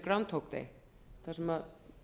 sem heitir áðan þar sem